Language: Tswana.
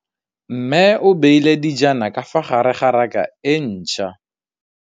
Mmê o beile dijana ka fa gare ga raka e ntšha.